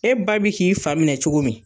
E ba bi k'i fa minɛ cogo min